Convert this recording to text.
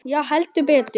Já, heldur betur.